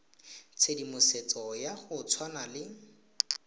tshedimosetso ya go tshwana le